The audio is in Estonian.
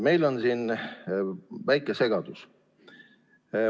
Meil on siin väike segadus.